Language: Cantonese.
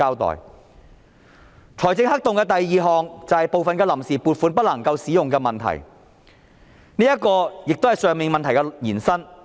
第二個財政黑洞是部分臨時撥款不能夠使用的問題，這同樣是以上問題的延伸。